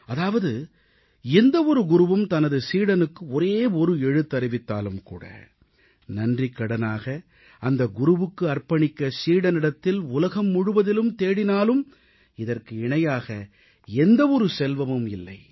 அதாவது எந்த ஒரு குருவும் தனது சீடனுக்கு ஒரே ஒரு எழுத்தறிவித்தாலும்கூட நன்றிக்கடனாக அந்த குருவுக்கு அர்ப்பணிக்க சீடனிடத்தில் உலகம் முழுவதிலும் தேடினாலும் இதற்கு இணையாக எந்த ஒரு செல்வமும் இல்லை